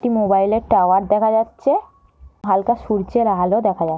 একটি মোবাইলের টাওয়ার দেখা যাচ্ছে। হালকা সূর্যের আলো দেখা যা--